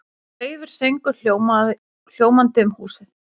Daufur söngur hljómandi um húsið.